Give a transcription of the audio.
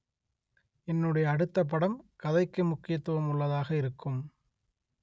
என்னுடைய அடுத்த படம் கதைக்கு முக்கியத்துவம் உள்ளதாக இருக்கும்